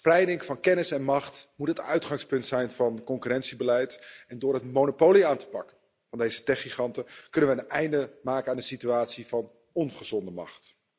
Spreiding van kennis en macht moet het uitgangspunt zijn van het mededingingsbeleid en door het monopolie aan te pakken van deze techgiganten kunnen we een einde maken aan de situatie van ongezonde macht.